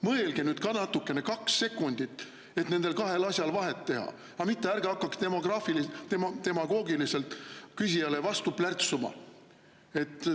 Mõelge nüüd ka natukene, kaks sekundit, et nendel kahel asjal vahet teha, mitte ärge hakake küsijale demagoogiliselt vastu plärtsuma.